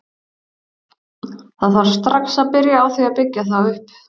Það þarf strax að byrja á því að byggja þá upp.